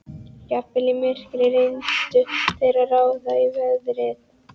Jafnvel í myrkri reyndu þeir að ráða í veðrið.